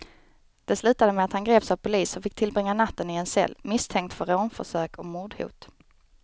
Det slutade med att han greps av polis och fick tillbringa natten i en cell, misstänkt för rånförsök och mordhot.